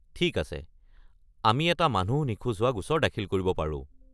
ঠিক আছে, আমি এটা মানুহ নিখোজ হোৱা গোচৰ দাখিল কৰি পাৰো।